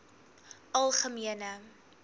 algemene